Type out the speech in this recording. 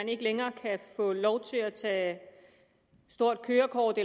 ikke længere kan få lov til at tage stort kørekort